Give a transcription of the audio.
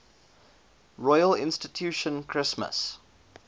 royal institution christmas